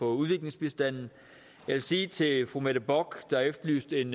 udviklingsbistanden jeg vil sige til fru mette bock der efterlyste en